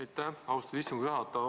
Aitäh, austatud istungi juhataja!